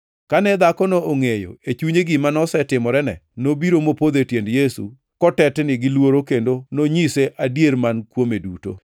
Kane dhakono ongʼeyo e chunye gima nosetimorene, nobiro mopodho e tiend Yesu kotetni gi luoro kendo nonyise adier man kuome duto.